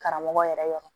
Karamɔgɔ yɛrɛ yɔrɔ